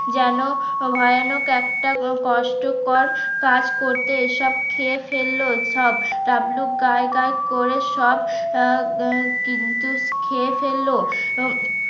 যেন ভয়ানক একটা কষ্টকর কাজ করতে এসব খেয়ে ফেলল সব ডাবলু গাইগাই করে সব আহ কিন্তু খেয়ে ফেললো।